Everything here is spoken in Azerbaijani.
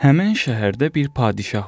Həmin şəhərdə bir padşah var imiş.